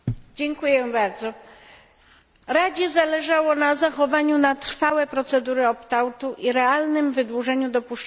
Radzie zależało na zachowaniu na trwałe procedury opt outu i realnym wydłużeniu dopuszczalnego tygodniowego czasu pracy.